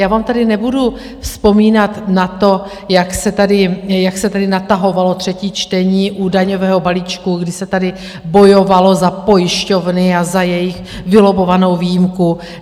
Já vám tady nebudu vzpomínat na to, jak se tady natahovalo třetí čtení u daňového balíčku, kdy se tady bojovalo za pojišťovny a za jejich vylobovanou výjimku.